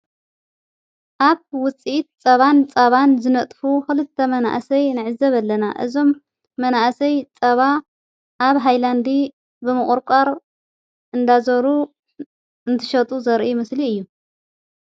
ኣብ ውፂእት ጸባን ፃባን ዝነጥፉ ኽልተ መናእሰይ ንዕዘበ ለና እዞም መናእሰይ ጸባ ኣብ ሃይላንዲ ብምቝርቋር እንዳዞሩ እንትሸጡ ዘርኢ ምስሊ እዩ።